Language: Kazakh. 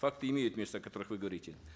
факты имеют место о которых вы говорите